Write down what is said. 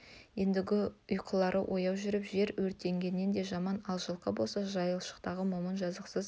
ендігі ұйқылары ояу жүріп жер өртегеннен де жаман ал жылқы болса жайшылықтағы момын жазықсыз